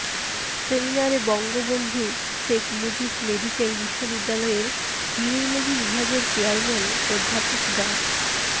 সেমিনারে বঙ্গবন্ধু শেখ মুজিব মেডিকেল বিশ্ববিদ্যালয়ের ইউরোলজি বিভাগের চেয়ারম্যান অধ্যাপক ডা